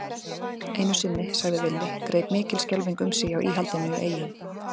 Einu sinni, sagði Villi, greip mikil skelfing um sig hjá íhaldinu í Eyjum.